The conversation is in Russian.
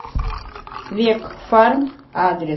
векфарм адрес